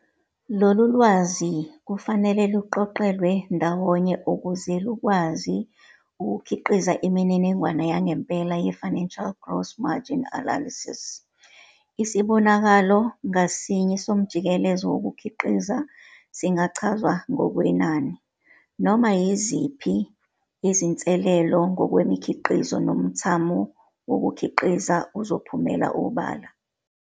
Lolwazi kufanele luqoqelwe ndawonye ukuze lukwazi ukukhiqiza imininingwane yangempela ye-financial gross margin analysis. Isibonakalo ngasinye somjikelezo wokukhiqiza singachazwa ngokwenani. Noma yiziphi izinsilela ngokwemikhiqizo nomthamo wokukhiqiza uzophumela obala.